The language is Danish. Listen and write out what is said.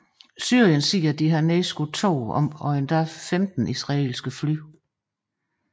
Syrien hævde at have nedskudt to og muligvis 15 israelske fly